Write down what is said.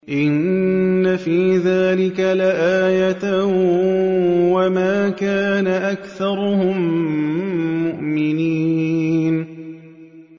إِنَّ فِي ذَٰلِكَ لَآيَةً ۖ وَمَا كَانَ أَكْثَرُهُم مُّؤْمِنِينَ